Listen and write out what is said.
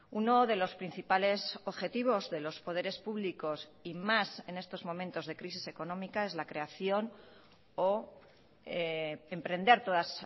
uno de los principales objetivos de los poderes públicos y más en estos momentos de crisis económica es la creación o emprender todas